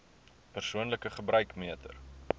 persoonlike gebruik meter